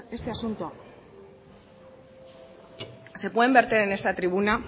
este asunto se pueden verter en esta tribuna